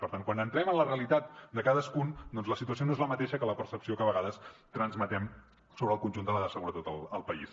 per tant quan entrem en la realitat de cadascun doncs la situació no és la mateixa que la percepció que a vegades transmetem sobre el conjunt de la seguretat al país